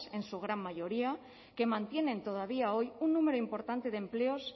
en su gran mayoría que mantienen todavía hoy un número importante de empleos